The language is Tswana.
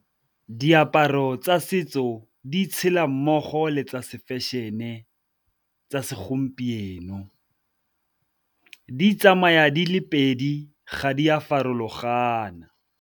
Diaparo tsa setso di tshela mmogo le tsa se-fashion-e tsa segompieno, di tsamaya di le pedi ga di a farologana.